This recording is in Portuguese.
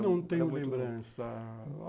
Não tenho lembrança...